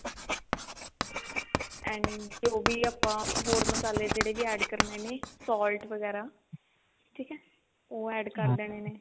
and ਜੋ ਵੀ ਆਪਾਂ ਹੋਰ ਮਸਾਲੇ ਜਿਹੜੇ ਵੀ add ਕਰਨੇ ਨੇ salt ਵਗੇਰਾ ਠੀਕ ਹੈ ਉਹ ਕਰਨੇ ਨੇ